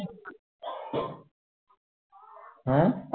হ্যাঁ